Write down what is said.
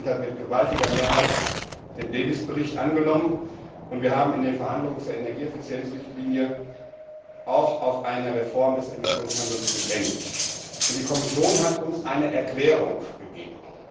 Das Parlament hat mit gewaltiger Mehrheit den Bericht Davis angenommen, und wir haben in den Verhandlungen zur Energieeffizienzrichtlinie auch auf eine Reform des Emissionshandels gedrängt. Die Kommission hat uns eine Erklärung gegeben.